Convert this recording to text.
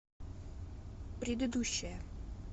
предыдущая